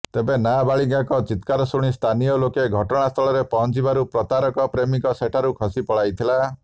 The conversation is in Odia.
ତେବେ ନାବାଳିକାଙ୍କ ଚିତ୍କାର ଶୁଣି ସ୍ଥାନୀୟ ଲୋକେ ଘଟଣାସ୍ଥଳରେ ପହଞ୍ଚିବାରୁ ପ୍ରତାରକ ପ୍ରେମିକ ସେଠାରୁ ଖସି ପଳାଇଥିଲା